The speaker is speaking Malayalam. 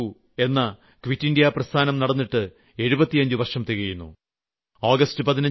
ഭാരതം വിട്ടു പോകൂ തുടങ്ങിയിട്ട് 75 വർഷം തികയുന്നു